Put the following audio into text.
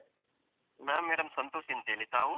ನಾನು madam ಸಂತೋಷ್ ಅಂತೇಳಿ, ತಾವು?